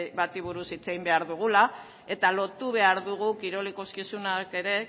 bati buruz hitz egin behar dugula eta lotu behar dugu kirol ikuskizunak ere